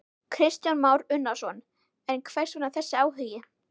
Kristján Már Unnarsson: En hvers vegna þessi áhugi?